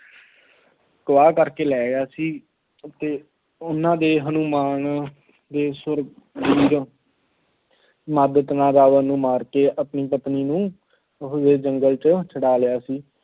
ਅਗਵਾ ਕਰਕੇ ਲੈ ਆਇਆ ਸੀ। ਅਤੇ ਉਹਨਾਂ ਦੇ ਹਨੂੰਮਾਨ ਦੇ ਸੂਰਵੀਰ ਰਾਜਾ ਨੂੰ ਮਾਰ ਕੇ ਆਪਣੀ ਪਤਨੀ ਨੂੰ ਜੰਗਲ ਚ ਛੁੱਡਾ ਲਿਆਏ ਸੀ।